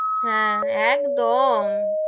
হ্যা, একদম,